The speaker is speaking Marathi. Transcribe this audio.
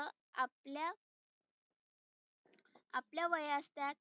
आपल्या आपल्या वयास त्या